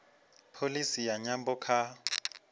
pholisi ya nyambo kha